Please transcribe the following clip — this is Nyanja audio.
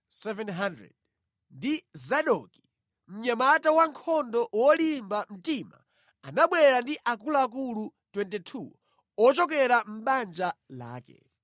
ndi Zadoki, mnyamata wankhondo wolimba mtima, anabwera ndi akuluakulu 22 ochokera mʼbanja lake;